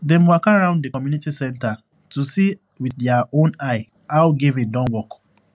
dem waka round the community center to see with their own eye how giving don work